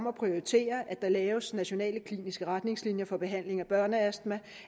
at prioritere at der laves nationale kliniske retningslinjer for behandling af børneastma